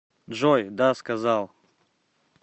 джой да сказал